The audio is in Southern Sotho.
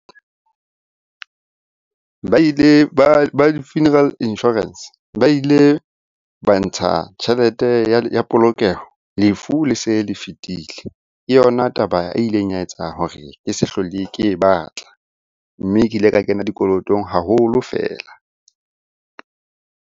Ba ile ba di-funeral insurance ba ile ba ntsha tjhelete ya polokeho lefu le se le fetile. Ke yona taba e ileng ya etsa hore ke se hlole ke e batla, mme ke ile ka kena dikolotong haholo feela.